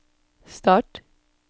start